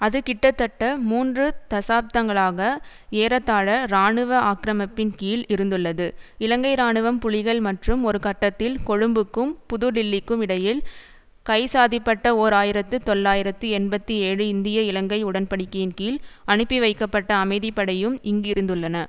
அது கிட்டத்தட்ட மூன்று தசாப்தங்களாக ஏறத்தாழ இராணுவ ஆக்கிரமிப்பின் கீழ் இருந்துள்ளது இலங்கை இராணுவம் புலிகள் மற்றும் ஒரு கட்டத்தில் கொழும்புக்கும் புது டில்லிக்கும் இடையில் கைச்சாதிடப்பட்ட ஓர் ஆயிரத்தி தொள்ளாயிரத்து எண்பத்தி ஏழு இந்தியஇலங்கை உடன்படிக்கையின் கீழ் அனுப்பி வைக்கப்பட்ட அமைதி படையும் இங்கு இருந்துள்ளன